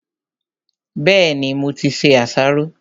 Bẹ́ẹ̀ni, mo ti se àsáró.